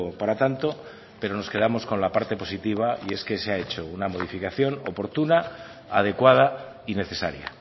para tanto pero nos quedamos con la parte positiva y es que se ha hecho una modificación oportuna adecuada y necesaria